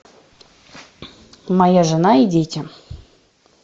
моя жена и дети